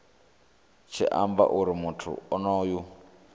tshi amba uri muthu onoyo